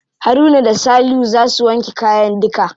Haruna da salihu za su wanke kayan duka.